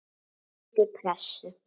Undir pressu.